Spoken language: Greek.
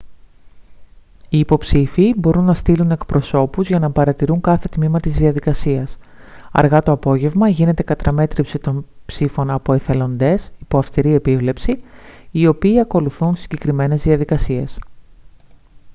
οι υποψήφιοι μπορούν να στείλουν εκπροσώπους για να παρατηρούν κάθε τμήμα της διαδικασίας αργά το απόγευμα γίνεται καταμέτρηση των ψήφων από εθελοντές υπό αυστηρή επίβλεψη οι οποίοι ακολουθούν συγκεκριμένες διαδικασίες